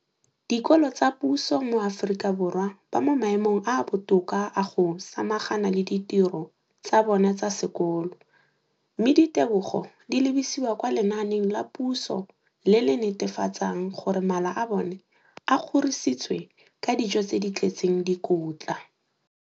dikolo tsa puso mo Aforika Borwa ba mo maemong a a botoka a go ka samagana le ditiro tsa bona tsa sekolo, mme ditebogo di lebisiwa kwa lenaaneng la puso le le netefatsang gore mala a bona a kgorisitswe ka dijo tse di tletseng dikotla.